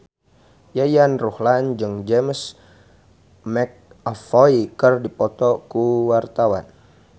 Yayan Ruhlan jeung James McAvoy keur dipoto ku wartawan